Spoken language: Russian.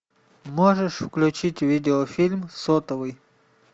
можешь включить видеофильм сотовый